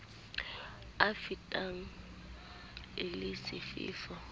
a fetang le a sefefo